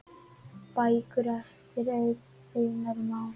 Bækur eftir Einar Má.